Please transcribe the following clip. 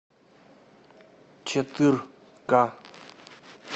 четыр ка